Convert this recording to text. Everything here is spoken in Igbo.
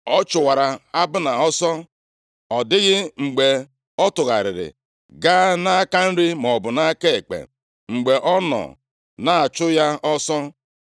Ọ chụwara Abna ọsọ, ọ dịghị mgbe ọ tụgharịrị gaa nʼaka nri maọbụ nʼaka ekpe mgbe ọ nọ na-achụ ya ọsọ.